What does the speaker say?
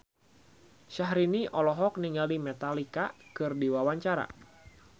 Syahrini olohok ningali Metallica keur diwawancara